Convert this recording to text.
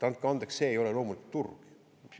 Andke andeks, see ei ole loomulik turg.